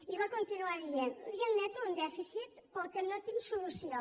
i va continuar dient li admeto un dèficit per al qual no tinc solució